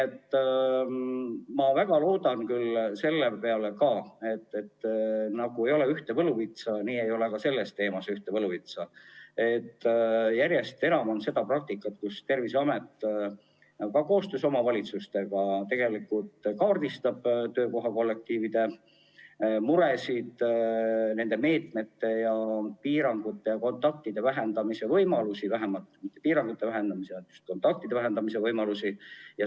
Ma väga loodan selle peale – ei ole ühte võluvitsa, ei ole ka selle teema puhul –, et järjest enam kasutatakse seda praktikat, et Terviseamet koostöös omavalitsustega kaardistab töökoha kollektiivide mured ning nende meetmete rakendamise ja kontaktide vähendamise võimalused.